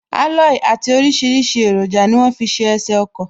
Aloyi àti orisirisi eroja ni wọ́n fi ṣe ẹsè ọkọ̀